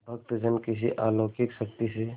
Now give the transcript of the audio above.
भक्तजन किसी अलौकिक शक्ति से